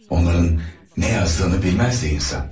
Onların nə yazdığını bilməzdi insan.